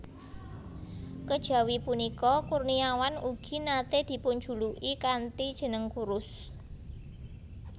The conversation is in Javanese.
Kejawi punika Kurniawan ugi naté dipunjuluki kanthi jeneng Kurus